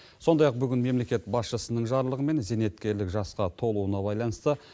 сондай ақ бүгін мемлекет басшысының жарлығымен зейнеткерлік жасқа толуына байланысты